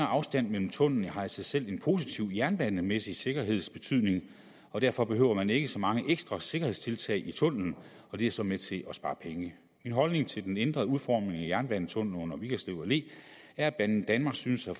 afstand mellem tunnellerne har i sig selv en positiv jernbanemæssig sikkerhedsbetydning og derfor behøver man ikke så mange ekstra sikkerhedstiltag i tunnellen og det er så med til at spare penge min holdning til den ændrede udformning af jernbanetunnellen under vigerslev allé er at banedanmark synes at